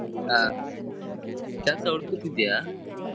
ಕೆಲ್ಸ ಹುಡುಕುತಿದ್ದೀಯಾ?